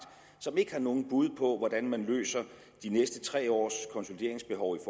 som ikke har nogen bud på hvordan man løser de næste tre års konsolideringsbehov i